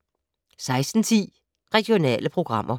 16:10: Regionale programmer